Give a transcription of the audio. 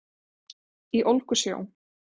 Í ólgusjó